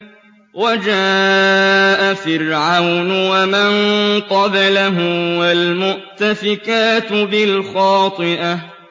وَجَاءَ فِرْعَوْنُ وَمَن قَبْلَهُ وَالْمُؤْتَفِكَاتُ بِالْخَاطِئَةِ